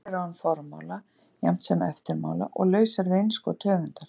Sögurnar eru án formála jafnt sem eftirmála og lausar við innskot höfundar.